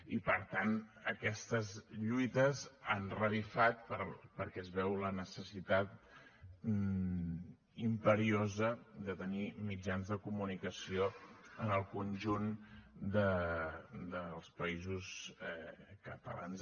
i per tant aquestes lluites han revifat perquè es veu la necessitat imperiosa de tenir mitjans de comunicació en el conjunt dels països catalans